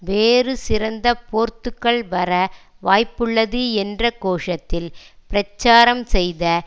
வேறு சிறந்த போர்த்துக்கல் வர வாய்ப்புள்ளது என்ற கோஷத்தில் பிரச்சாரம் செய்த